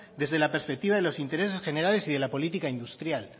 desde la perspectiva de los intereses generales y de la política industrial